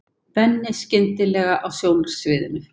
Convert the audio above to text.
Benni skyndilega á sjónarsviðinu.